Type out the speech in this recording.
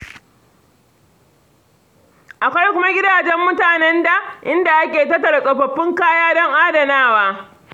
Akwai kuma gidajen mutanen da, inda ake tattara tsofaffin kaya don adanawa.